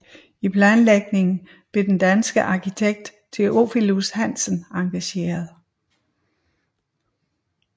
I planlægningen blev den danske arkitekt Theophilus Hansen engageret